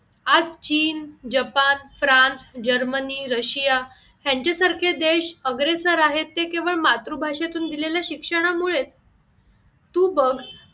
आज चीन, Japan, France, Germany, Russia यांच्या सारखे देश अग्रेसर आहेत ते केवळ मातृ भाषेतून दिलेल्या शिक्षणामुळेच तू बघ मुंबई